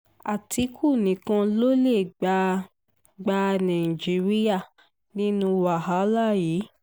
àtìkù nìkan ló lè gba gba nàìjíríà nínú wàhálà yìí